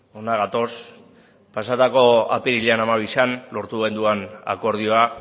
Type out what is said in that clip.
hona gatoz pasatako apirilak hamabian lortu genuen akordioa